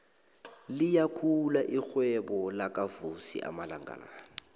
liyakhula irhwebo lakavusi amalanga la